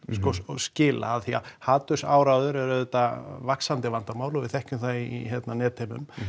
skila af því að hatursáróður er auðvitað vaxandi vandamál og við þekkjum það í netheimum